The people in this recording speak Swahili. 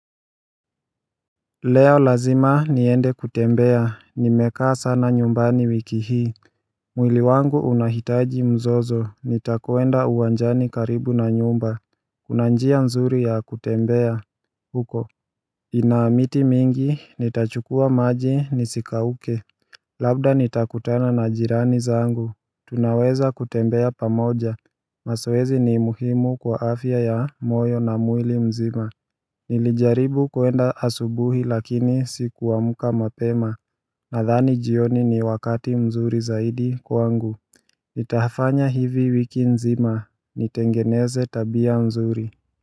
Leo lazima niende kutembea, nimekaa sana nyumbani wiki hii mwili wangu unahitaji mzozo, nitakoenda uwanjani karibu na nyumba Kuna njia mzuri ya kutembea huko Inaamiti mingi, nitachukua maji, nisikauke Labda nitakutana na jirani zangu Tunaweza kutembea pamoja, mazoezi ni imuhimu kwa afya ya moyo na mwili mzima Nilijaribu kuenda asubuhi lakini sikuamka mapema Nadhani jioni ni wakati mzuri zaidi kwangu Nitafanya hivi wiki nzima, nitengeneze tabia mzuri.